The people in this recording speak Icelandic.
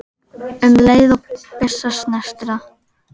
um leið og byssa snertir það.